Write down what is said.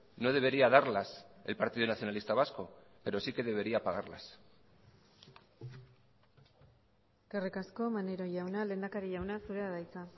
no debería darlas el partido nacionalista vasco pero sí que debería pagarlas eskerrik asko maneiro jauna lehendakari jauna zurea da hitza